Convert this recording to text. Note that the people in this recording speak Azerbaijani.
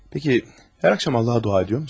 Peki hər axşam Allaha dua ediyorsun?